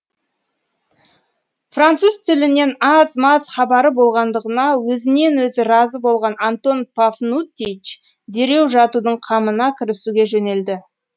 француз тілінен аз маз хабары болғандығына өзінен өзі разы болған антон пафнутьич дереу жатудың қамына кірісуге жөнелді